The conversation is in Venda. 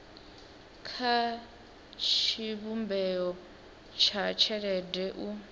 kha tshivhumbeo tsha tshelede u